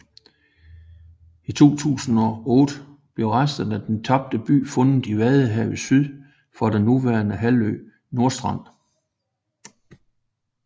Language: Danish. I 2008 blev resterne af den tabte by fundet i vadehavet syd for den nuværende halvø Nordstrand